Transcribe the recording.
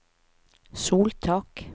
soltak